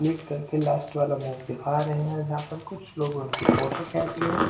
लीट करके लास्ट वाला मूव दिखा रहे हैंजहां पर कुछ लोग उन की फोटो खेचि है ।